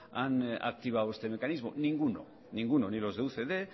han activado este mecanismo ninguno ninguno ni los de ucd